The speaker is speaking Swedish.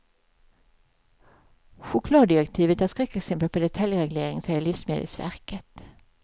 Chokladdirektivet är ett skräckexempel på detaljreglering, säger livsmedelsverket.